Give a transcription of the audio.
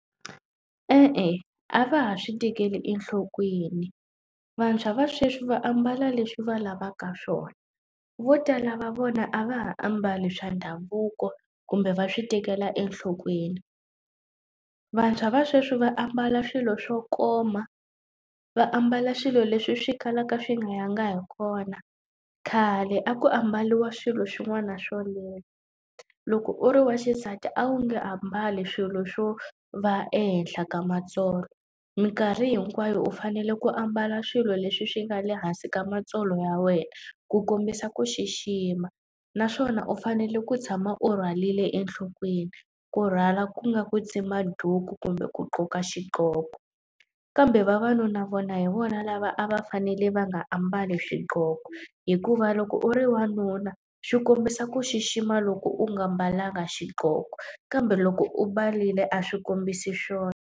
E-e a va ha swi tekeli enhlokweni, vantshwa va sweswi va ambala leswi va lavaka swona. Vo tala va vona a va ha ambali swa ndhavuko kumbe va swi tekela enhlokweni. Vantshwa va sweswi va ambala swilo swo koma, va ambala swilo leswi swi kalaka swi nga yangi hi kona. Khale a ku ambariwa swilo swin'wana swo leha. Loko u ri wa xisati a wu nge ambali swilo swo va ehenhla ka matsolo, minkarhi hinkwayo u fanele ku ambala swilo leswi swi nga le hansi ka matsolo ya wena ku kombisa ku xixima. Naswona u fanele ku tshama u rhwarile enhlokweni, kurhwala ku nga ku tsimba duku kumbe ku gqoka xiqhoko. Kambe vavanuna vona hi vona lava a va fanele va nga ambali swigqoko, hikuva loko u ri wanuna swi kombisa ku xixima loko u nga mbalanga xigqoko. Kambe loko u mbarile a swi kombisi swona.